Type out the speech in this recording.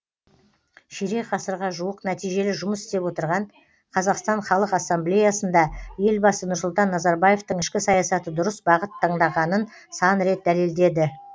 ширек ғасырға жуық нәтижелі жұмыс істеп отырған қазақстан халық ассамблеясында елбасы нұрсұлтан назарбаевтың ішкі саясаты дұрыс бағыт таңдағанын сан рет дәлелдеді